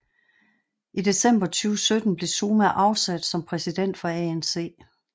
I december 2017 blev Zuma afsat som præsident for ANC